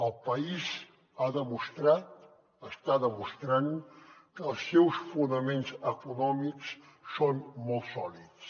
el país ha demostrat està demostrant que els seus fonaments econòmics són molt sòlids